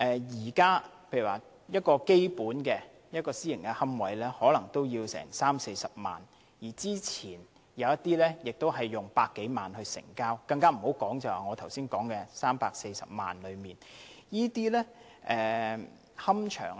現時一個基本的私營龕位可能要30萬元、40萬元，之前亦有一些龕位以過百萬元成交，更不用說我剛才提到價值340萬元的龕位。